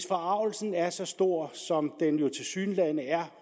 forargelse er så stor som den jo tilsyneladende er